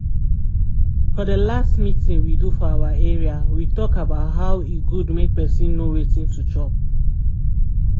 for the last meeting we do for area we talk about hoe e good make person know wetin to chop